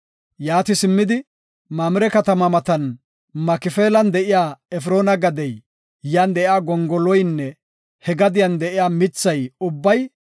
Yaati simmidi, Mamire katama matan Makifeelan de7iya Efroona gadey, yan de7iya gongoloynne he gadiyan de7iya mitha ubbay,